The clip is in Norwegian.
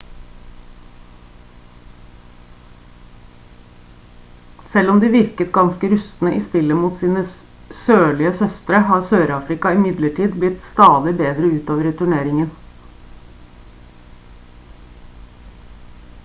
selv om de virket ganske rustne i spillet mot sine sørlige søstre har sør-afrika imidlertid blitt stadig bedre utover i turneringen